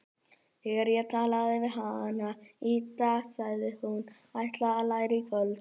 Þegar ég talaði við hana í dag sagðist hún ætla að læra í kvöld.